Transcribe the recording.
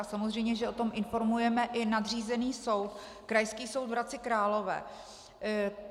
A samozřejmě že o tom informujeme i nadřízený soud, Krajský soud v Hradci Králové.